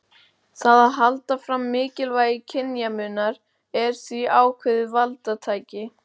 Það að halda fram mikilvægi kynjamunar er því ákveðið valdatæki.